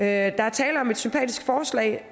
er tale om et sympatisk forslag